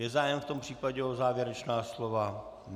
Je zájem v tom případě o závěrečná slova?